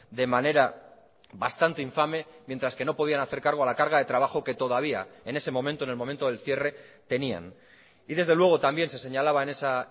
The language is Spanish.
de manera bastante infame mientras que no podían hacer cargo a la carga de trabajo que todavía en ese momento en el momento del cierre tenían y desde luego también se señalaba en esa